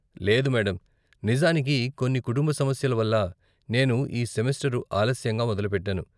లేదు మేడమ్ , నిజానికి కొన్ని కుటుంబ సమస్యల వల్ల నేను ఈ సెమెస్టరు ఆలస్యంగా మొదలుపెట్టాను.